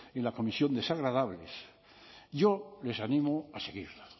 en la comisión desagradables yo les animo a seguirla